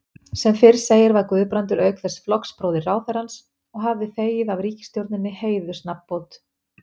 Sem fyrr segir var Guðbrandur auk þess flokksbróðir ráðherrans og hafði þegið af ríkisstjórninni heiðursnafnbót.